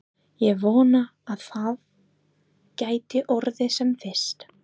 Ég vona að það geti orðið sem fyrst.